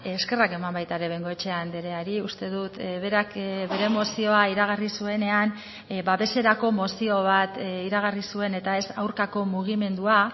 eskerrak eman baita ere bengoechea andreari uste dut berak bere mozioa iragarri zuenean babeserako mozio bat iragarri zuen eta ez aurkako mugimendua